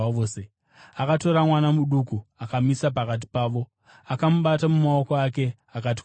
Akatora mwana muduku akamumisa pakati pavo. Akamubata mumaoko ake, akati kwavari,